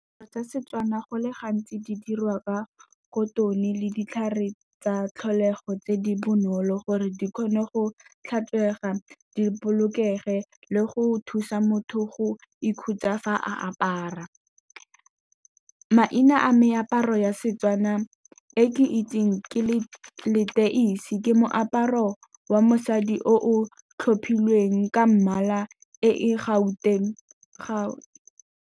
Tsa Setswana go le gantsi di dirwa ka cotton-e le ditlhare tsa tlholego tse di bonolo, gore di kgone go tlhatswega, di bolokege le go thusa motho go ikhutsa fa a apara. Maina a meaparo ya Setswana e ke itseng ke leteisi, ke moaparo wa mosadi o o tlhophilweng ka mmala e e Gauteng .